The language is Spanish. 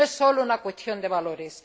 Y no es sólo una cuestión de valores.